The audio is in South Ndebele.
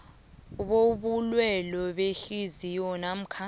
bobulwele behliziyo namkha